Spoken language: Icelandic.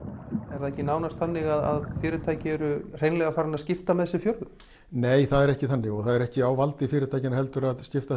er það ekki nánst þannig að fyrirtæki eru farin að skipta með sér fjörðum nei það er ekki þannig og ekki á valdi fyrirtækjanna að skipta